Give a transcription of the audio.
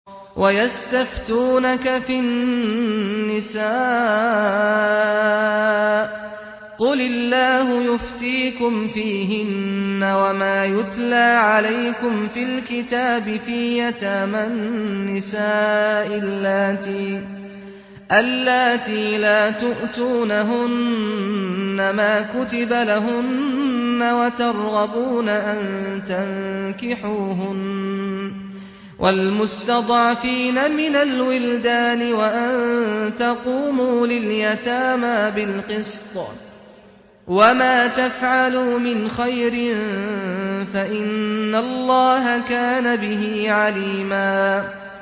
وَيَسْتَفْتُونَكَ فِي النِّسَاءِ ۖ قُلِ اللَّهُ يُفْتِيكُمْ فِيهِنَّ وَمَا يُتْلَىٰ عَلَيْكُمْ فِي الْكِتَابِ فِي يَتَامَى النِّسَاءِ اللَّاتِي لَا تُؤْتُونَهُنَّ مَا كُتِبَ لَهُنَّ وَتَرْغَبُونَ أَن تَنكِحُوهُنَّ وَالْمُسْتَضْعَفِينَ مِنَ الْوِلْدَانِ وَأَن تَقُومُوا لِلْيَتَامَىٰ بِالْقِسْطِ ۚ وَمَا تَفْعَلُوا مِنْ خَيْرٍ فَإِنَّ اللَّهَ كَانَ بِهِ عَلِيمًا